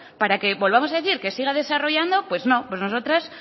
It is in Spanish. para que volvamos a decir que siga desarrollando pues no nosotras